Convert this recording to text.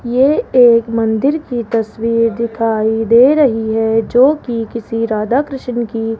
ये एक मंदिर की तस्वीर दिखाई दे रही है जो कि किसी राधा कृष्ण की --